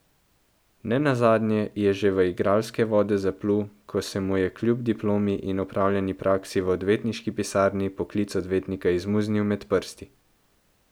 Ne nazadnje je že v igralske vode zaplul, ko se mu je kljub diplomi in opravljeni praksi v odvetniški pisarni poklic odvetnika izmuznil med prsti.